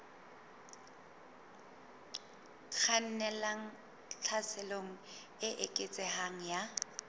kgannelang tlhaselong e eketsehang ya